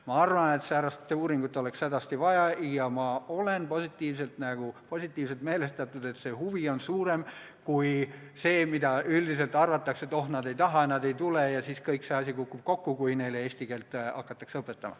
Ma arvan, et säärast uuringut oleks hädasti vaja, ja ma olen positiivselt meelestatud, et see huvi on suurem kui see, mida üldiselt arvatakse, et oh, nad ei taha, nad ei tule ja siis kõik see asi kukub kokku, kui neile eesti keelt hakatakse õpetama.